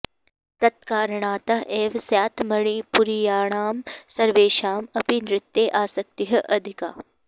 तत्कारणतः एव स्यात् मणिपुरीयाणां सर्वेषाम् अपि नृत्ये आसक्तिः अधिका